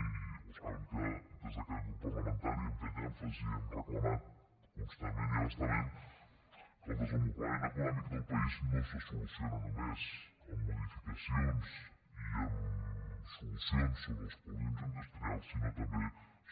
i ho saben que des d’aquest grup parlamentari hem fet èmfasi hem reclamat constantment i a bastament que el desenvolupament econòmic del país no se soluciona només amb modificacions i amb solucions sobre els polígons industrials sinó també